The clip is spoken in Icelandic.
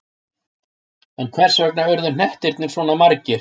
En hvers vegna urðu hnettirnir svona margir?